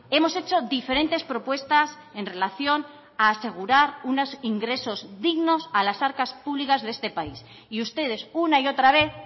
hemos hecho diferentes propuestas en relación a asegurar unos ingresos dignos a las arcas públicas de este país y ustedes una y otra vez